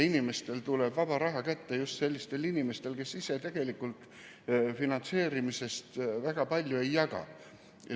Inimestele tuleb vaba raha kätte, just sellistele inimestele, kes ise tegelikult finantseerimisest väga palju ei jaga.